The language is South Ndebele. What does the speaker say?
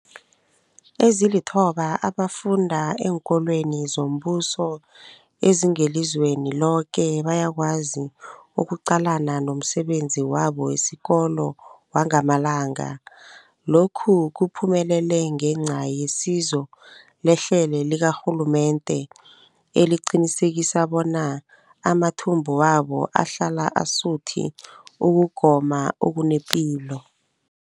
Ezilithoba abafunda eenkolweni zombuso ezingelizweni loke bayakwazi ukuqalana nomsebenzi wabo wesikolo wangamalanga. Lokhu kuphumelele ngenca yesizo lehlelo likarhulumende eliqinisekisa bona amathumbu wabo ahlala asuthi ukugoma okunepilo.